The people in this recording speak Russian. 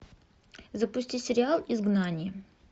запусти сериал изгнание